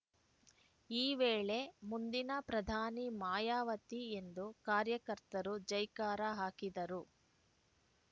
ಈ ವೇಳೆ ಮುಂದಿನ ಪ್ರಧಾನಿ ಮಾಯಾವತಿ ಎಂದು ಕಾರ್ಯಕರ್ತರು ಜೈಕಾರ ಹಾಕಿದರು